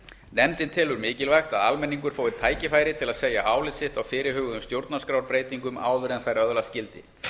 nefndin telur mikilvægt að almenningur fái tækifæri til að segja álit sitt á fyrirhuguðum stjórnarskrárbreytingum áður en þær öðlast gildi